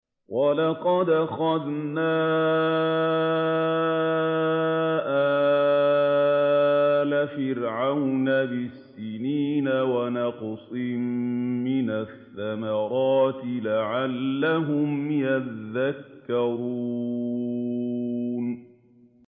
وَلَقَدْ أَخَذْنَا آلَ فِرْعَوْنَ بِالسِّنِينَ وَنَقْصٍ مِّنَ الثَّمَرَاتِ لَعَلَّهُمْ يَذَّكَّرُونَ